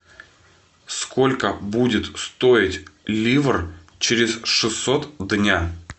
сколько будет стоить ливр через шестьсот дня